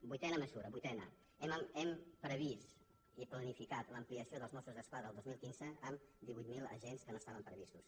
vuitena me·sura vuitena hem previst i planificat l’ampliació dels mossos d’esquadra el dos mil quinze en divuit mil agents que no estaven previstos